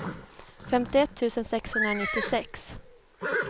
femtioett tusen sexhundranittiosex